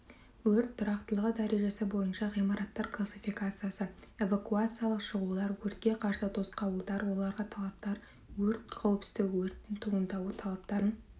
өрт тұрақтылығы дәрежесі бойынша ғимараттар классификациясы эвакуациялық шығулар өртке қарсы тосқауылдар оларға талаптар өрт қауіпсіздігі өрттің туындауы талаптарын